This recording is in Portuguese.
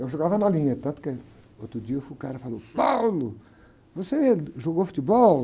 Eu jogava na linha, tanto que outro dia o cara falou, você jogou futebol?